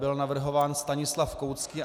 Byl navrhován Stanislav Koucký.